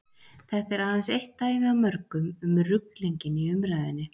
þetta er aðeins eitt dæmi af mörgum um ruglinginn í umræðunni